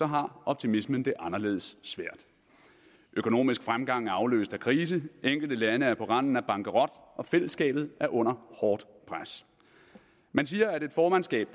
har optimismen det anderledes svært økonomisk fremgang er aflyst af krise enkelte lande er på randen af bankerot og fællesskabet er under hårdt pres man siger at et formandskab